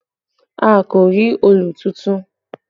A kò rí òòlù tuntun